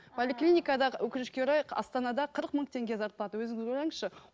поликлиникада өкінішке орай астанада қырық мың теңге зарплата өзіңіз ойлаңызшы